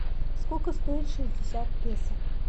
сколько стоит шестьдесят песо